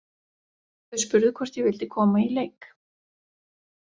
Þau spurðu hvort ég vildi koma í leik.